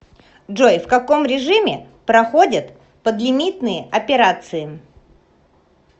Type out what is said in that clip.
джой в каком режиме проходят подлимитные операции